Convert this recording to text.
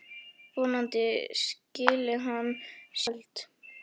Vonandi skili hann sér í kvöld.